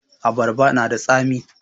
Abarba na da tsami